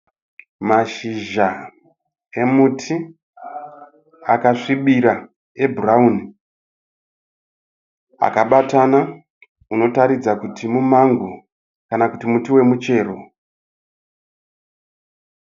Mashizha emuti, akasvibira ebhurauni, akabatana, unotaridza kuti mumango kana kuti muti wemuchero.